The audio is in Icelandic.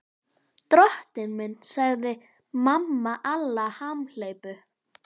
Drottinn minn, sagði mamma Alla hamhleypu.